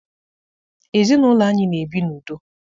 Ezinaụlọ anyị na-ebi n'udo.